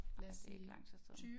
Ej det er ikke lang tid siden